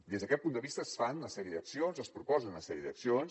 des d’aquest punt de vista es fan una sèrie d’accions es proposen una sèrie d’accions